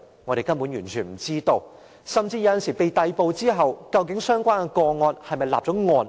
甚至有時候，有關人士被逮捕後，究竟其個案是否已立案？